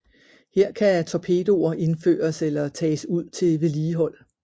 Her kan torpedoer indføres eller tages ud til vedligehold